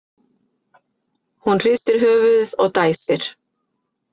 Hún hristir höfuðið og dæsir.